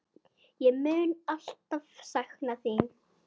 Ég mun alltaf sakna þín.